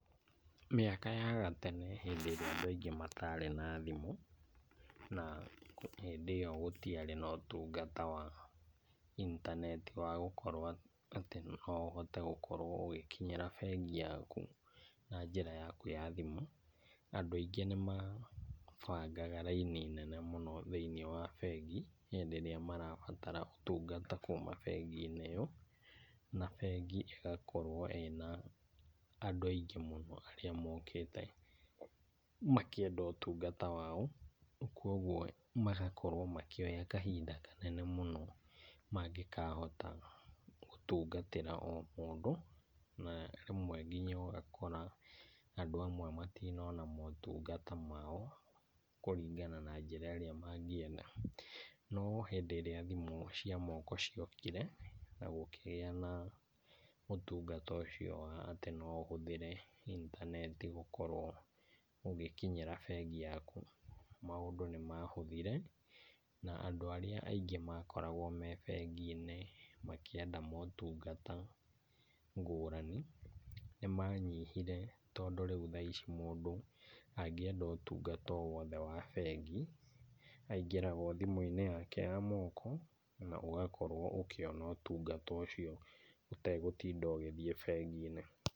Mĩaka ya gatene hĩndĩ irĩa andũ matarĩ na thimũ, na hĩndĩ ĩyo gũtĩarĩ na ũtungata wa intaneti wa gũkorwo atĩ noũhote gũkorwo ũgĩkinyĩra benki yaku na njĩra yaku ya thimũ, andũ aingĩ nĩmabangaga raini nene mũno thĩinĩ wa bengi hĩndĩ ĩrĩa marabatara ũtungata kuuma benginĩ ĩyo na bengi ĩgakorwo ĩna andũ aingĩ mũno arĩa mokĩte makĩenda ũtungata wao kwoguo magakorwo makĩoya kahinda kanene mũno mangĩkahota gũtungatĩra omũndo na rĩmwe nginya ũgakora andũ amwe matinona motunagata mao kũringana na njĩra ĩrĩa mangĩenda, no hĩndĩ ĩrĩa thimũ cia moko ciokire na gũkĩgĩa na motungata ũcio wa atĩ no ũhũthĩre intaneti gũkorwo ũgikinyĩra bengi yaku maũndũ nĩ mahuthire na andũ arĩa ingĩ makoragwo menginĩ makĩenda motungata ngũrani nĩmanyihire, tondũ rĩũ thaa ici mũndũ angĩenda motungata owothe wa bengi aingĩraha othimũinĩ yake ya moko na ũgakorwo ũkĩona ũtungata ũcio ũtegũtinda ũthiete benginĩ.